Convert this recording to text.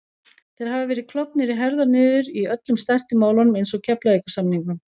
Þeir hafa verið klofnir í herðar niður í öllum stærstu málunum eins og Keflavíkursamningnum